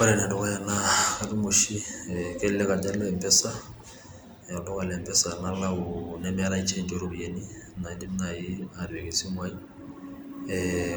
ore ene dukuya naa katum oshi kelelek ajo alo empesa nemetae change ooropiyiani nadim naaji atipika esimu ai,